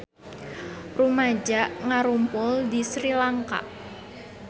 Rumaja ngarumpul di Sri Lanka